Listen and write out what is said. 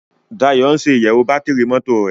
Dayo ń ṣe iyewo Bátìrì mọ́tò rẹ.